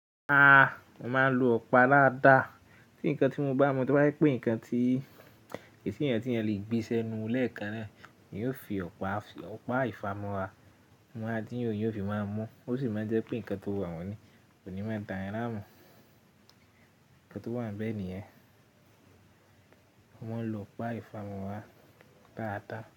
Mo máa ń lo ọ̀pá lááda. Tí nǹkan tí mo bá mu, tí o jẹ pé nǹkan tí esi eyi tí èèyàn le gbé si enu lẹ́ẹ̀kan náà, èèyàn ó fi ọ̀pá, ọpa ìfámọ̀ra, máa dín ó, èèyàn o fi máa mú, ó sì máa jẹ́ pe nǹkan tó rorun ní kò ní máa da èèyàn namu. Nǹkan tó wà níbẹ̀ nìyẹn. Mo ń lo ọ̀pá ìfámọ̀ra dáadáa.